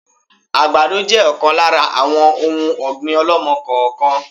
Àgbàdo jẹ ọ̀kan lára àwọn òun ọ̀gbín ọ̀lọ́mọ-kọọ-kan